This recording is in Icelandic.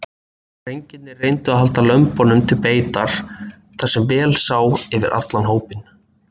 Drengirnir reyndu að halda lömbunum til beitar þar sem vel sá yfir allan hópinn.